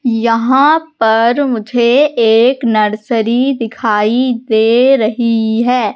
यहां पर मुझे एक नर्सरी दिखाई दे रही हैं।